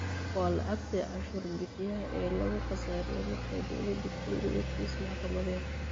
Waa lacagtii cashuur bixiyaha ee lagu khasaariyo markay dawladu ku waydo kiis maxkamadeed.